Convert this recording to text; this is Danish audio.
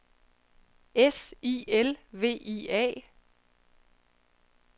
S I L V I A